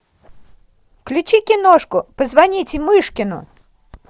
включи киношку позвоните мышкину